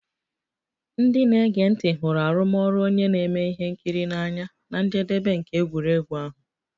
Ndị na-ege ntị hụrụ arụmọrụ onye na-eme ihe nkiri n'anya na njedebe nke egwuregwu ahụ